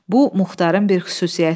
Bu Muxtarın bir xüsusiyyəti idi.